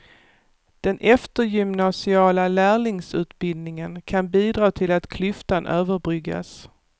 Den eftergymnasiala lärlingsutbildningen kan bidra till att klyftan överbryggas.